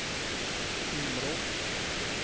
Timrå